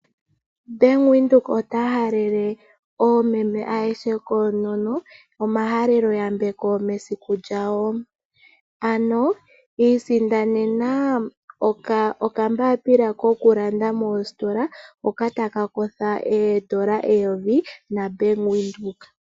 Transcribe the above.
Bank Windhoek ota halele oomeme ayehe koonono omahaleloyambeko mesiku lyawo. Ano isindanena okakalata kokulanda mositola, hoka ke na oodola eyovi naBank Windhoek.